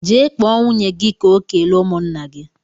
Jee kpọọ nwunye gị ka o kelee ụmụnna gị!